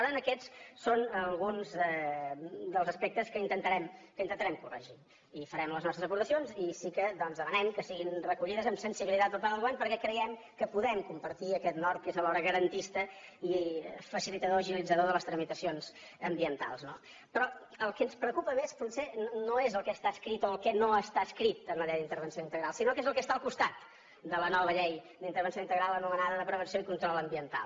per tant aquests són alguns dels aspectes que intentarem corregir i farem les nostres aportacions i sí que doncs demanem que siguin recollides amb sensibilitat per part del govern perquè creiem que podem compartir aquest nord que és alhora garantista i facilitador agilitzador de les tramitacions ambientals no però el que ens preocupa més potser no és el que està escrit o el que no està escrit en la llei d’intervenció integral sinó què és el que està al costat de la nova llei d’intervenció integral anomenada de prevenció i control ambiental